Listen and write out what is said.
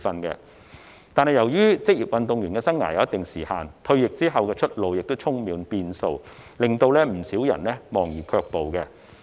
可是，由於職業運動員生涯有一定的時限，退役後的出路亦充滿變數，令到不少人望而卻步。